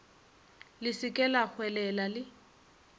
le se ke lahwelela le